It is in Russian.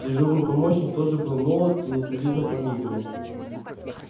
дежурный помощник тоже был молод и несолидно подмигивал